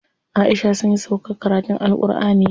Aisha sunyi sauƙar karatun AlƘurʼani yau.